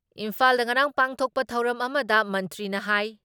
ꯏꯝꯐꯥꯜꯗ ꯉꯔꯥꯡ ꯄꯥꯡꯊꯣꯛꯄ ꯊꯧꯔꯝ ꯑꯃꯗ ꯃꯟꯇ꯭ꯔꯤꯅ ꯍꯥꯏ